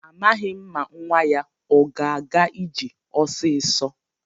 Amaghị m ma nwa ya o ga-aga ije ọsịsọ.